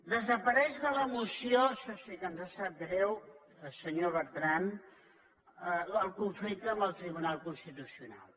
desapareix de la moció això sí que ens sap greu senyor bertran el conflicte amb el tribunal constitucional